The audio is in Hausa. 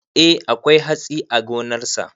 Eh akwai hatsi a gonarsa.